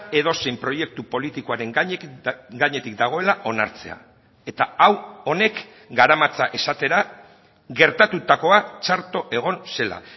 edozein proiektu politikoaren gainetik dagoela onartzea eta hau honek garamatza esatera gertatutakoa txarto egon zela